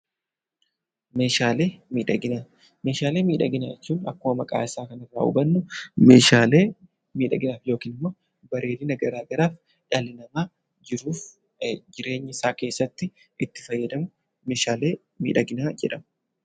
Meeshaalee miidhaginaa Meeshaalee miidhaginaa jechuun akkuma maqaa isaa kana irraa hubannu meeshaalee miidhaginaaf yookiin immoo bareedina gara garaaf dhalli namaa jiruuf jireenya isaa keessatti itti fayyadamu 'Meedhaalee miidhaginaa' jedhama.